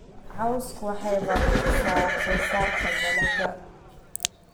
Cawsku waxay baabi'isaa wax soo saarka dalagga.